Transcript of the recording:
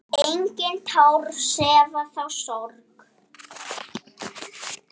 Engin tár sefa þá sorg.